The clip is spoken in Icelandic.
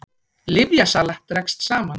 Lyfjasala dregst saman